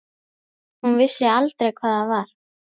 Hún vissi aldrei hvað það var.